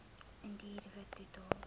indiër wit totaal